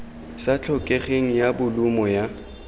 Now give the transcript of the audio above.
sa tlhokegeng ya bolumo ya